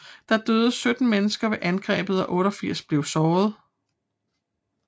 Der døde 17 mennesker ved angrebet og 88 blev såret